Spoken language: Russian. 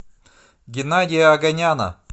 геннадия оганяна